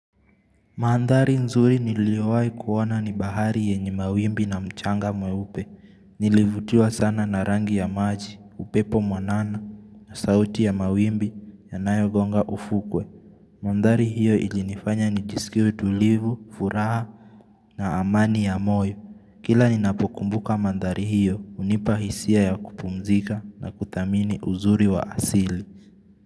Mandhari nzuri niliowai kuona ni bahari yenye mawimbi na mchanga mweupe. Nilivutiwa sana na rangi ya maji, upepo mwanana, na sauti ya mawimbi, yanayogonga ufukwe. Mandhari hiyo ilinifanya nijisikie tulivu, furaha na amani ya moyo. Kila ninapokumbuka mandhari hiyo, hunipa hisia ya kupumzika na kuthamini uzuri wa asili.